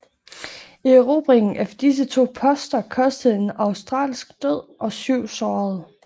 Erobringen af disse to poster kostede en australsk død og syv sårede